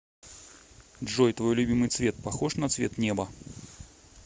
джой твой любимый цвет похож на цвет неба